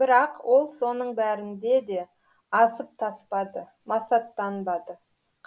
бірақ ол соның бәрінде де асып таспады масаттанбады